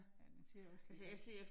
Ja, den ser også lidt